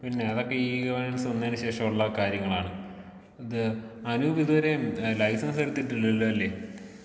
പിന്നെ അതൊക്കെ ഈ ഗവേണൻസ് വന്നേനു ശേഷമുള്ള കാര്യങ്ങളാണ്. ഇത് അനൂപി ഇതുവരെയും ലൈസൻസ് എടുത്തിട്ടില്ലല്ലോ അല്ലേ.